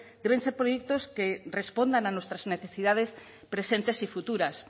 deben ser proyectos que respondan a nuestras necesidades presentes y futuras